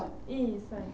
Isso.